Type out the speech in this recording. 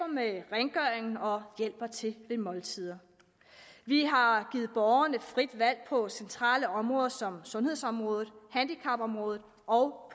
med rengøring og hjælper til ved måltider vi har givet borgerne frit valg på centrale områder som sundhedsområdet handicapområdet og